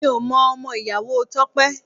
Mi ò mọ ọmọ ìyàwó Tope